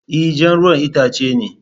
E, jan ruwan itace ne